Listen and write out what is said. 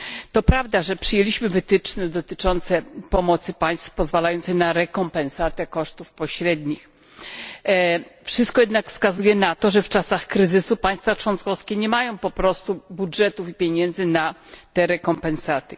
To prawda, że przyjęliśmy wytyczne dotyczące pomocy państw, pozwalające na rekompensatę kosztów pośrednich, wszystko jednak wskazuje na to, że w czasach kryzysu państwa członkowskie nie mają po prostu budżetów i pieniędzy na te rekompensaty.